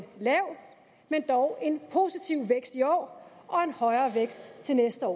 lav men dog positiv vækst i år og en højere vækst til næste år